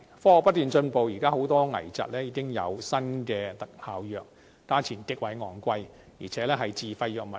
科學不斷進步，現時很多危疾已有新的特效藥，價錢極為昂貴，而且屬自費藥物。